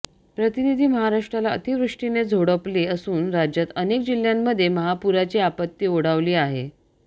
प्रतिनिधी महाराष्ट्राला अतिवृष्टीने झोडपले असून राज्यात अनेक जिल्ह्यांमध्ये महापुराची आपत्ती ओढावली आहे